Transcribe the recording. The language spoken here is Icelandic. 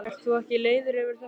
Ert þú ekki leiður yfir þessu?